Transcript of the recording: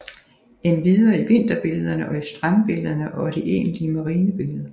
Endvidere i vinterbillederne og i strandbillederne og de egentlige marinebilleder